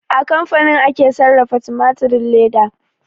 A kamfani ake sarrafa tumatirin leda